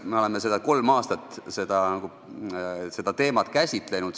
Me oleme seda teemat kolm aastat käsitlenud.